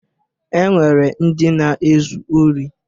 E nwere ndị na-ezu ori.